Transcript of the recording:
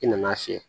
I nan'a fiyɛ